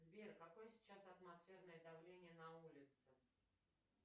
сбер какое сейчас атмосферное давление на улице